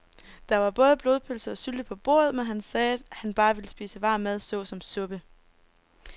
Der var både blodpølse og sylte på bordet, men han sagde, at han bare ville spise varm mad såsom suppe.